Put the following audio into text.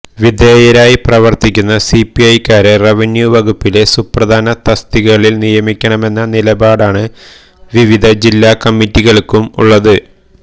വിധേയരായി പ്രവർത്തിക്കുന്ന സിപിഐക്കാരെ റവന്യൂ വകുപ്പിലെ സുപ്രധാന തസ്തികകളിൽ നിയമിക്കണമെന്ന നിലപാടാണ് വിവിധ ജില്ലാ കമ്മറ്റികൾക്കും ഉള്ളത്